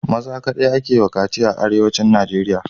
Maza kadai ake wa kaci a arewacin nigeria